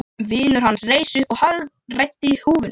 Vinur hans reis upp og hagræddi húfunni.